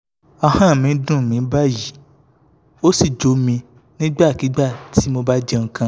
ahọ́n mi ń dùn báyìí ó sì jo mi nígbàkigbà tí mo bá jẹ nǹkan kan